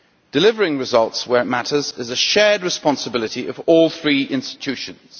Delivering results where it matters is a shared responsibility of all three institutions.